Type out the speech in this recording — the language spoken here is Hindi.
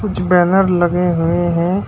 कुछ बैनर लगे हुए हैं।